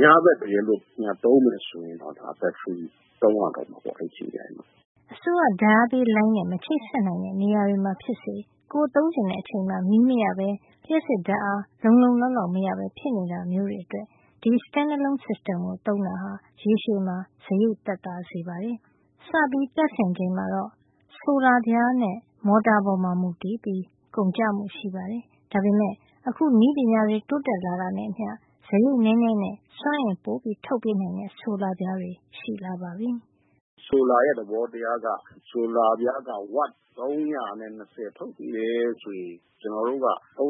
ညဘက် တကယ်လို့ သုံးမယ် ဆိုရင်တော့ ဒါ ဘက်ထရီသုံးရမှာပေါ့။” အစိုးရဓါတ်အားပေးလိုင်းနဲ့ မချိတ်ဆက်နိုင်တဲ့ နေရာတွေမှာ ဖြစ်စေ ကိုယ်သုံးချင်တဲ့ အချိန်မှာ မီးမရပဲ လျှပ်စစ်ဓါတ်အား လုံလုံလောက်လောက် မရပဲဖြစ်နေတာမျိုးတွေ အတွက် ဒီ stand-alone system ကို သုံးတာဟာ ရေရှည်မှာ စားရိတ် သက်သာစေပါတယ်။ စပြီးတပ်ဆင်ချိန်မှာတော့ ဆိုလာပြားနဲ့ မော်တာပေါ်မူတည်ပြီး ကုန်ကျမှုရှိပါတယ်။ ဒါပေမယ့် အခု နည်းပညာတွေ တိုးတက်လာတာနဲ့အမျှ စားရိတ်နဲနဲနဲ့ စွမ်းအင်ပိုပေးနိုင်တဲ့ ဆိုလာပြားတွေ ရှိလာပါပြီ။ ဦးမိုးဟိန်း။ ။“ဆိုလာရဲ့ သဘောတရားက ဝပ် Watt ၃၂၀ ထုတ်ပေးတယ်ဆိုရင် ၃၂၀ အ